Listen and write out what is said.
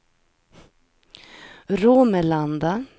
Romelanda